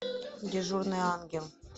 дежурный ангел